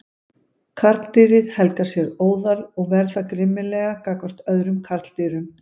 Karldýrið helgar sér óðal og ver það grimmilega gagnvart öðrum karldýrum.